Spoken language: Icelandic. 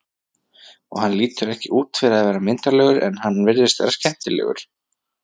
Og hann lítur ekki út fyrir að vera myndarlegur en hann virðist vera skemmtilegur.